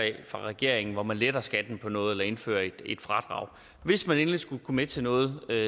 fra regeringen hvor man letter skatten på noget eller indfører et fradrag hvis man endelig skulle gå med til noget er